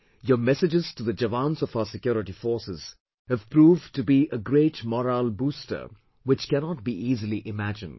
Your messages to the Jawans of our security forces have proved to be a great morale booster which cannot be easily imagined